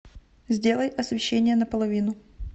сделай освещение на половину